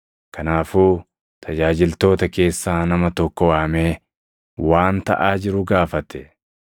Kanaafuu tajaajiltoota keessaa nama tokko waamee waan taʼaa jiru gaafate.